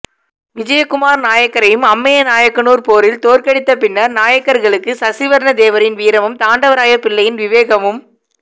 விஜயகுமார் நாயக்கரையும் அம்மைய நாயக்கனூர் போரில் தோற்கடித்த பின்னர் நாயக்கர்களுக்கு சசிவர்ணத்தேவரின் வீரமும் தாண்டவராய பிள்ளையின் விவேகமும்